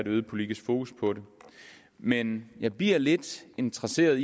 øget politisk fokus på det men jeg bliver lidt interesseret